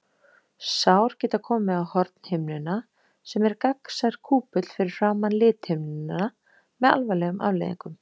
Sár geta komið á hornhimnuna, sem er gagnsær kúpull fyrir framan lithimnuna, með alvarlegum afleiðingum.